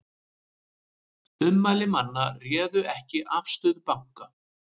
Ummæli manna réðu ekki afstöðu banka